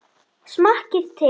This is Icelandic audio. Smakkið til.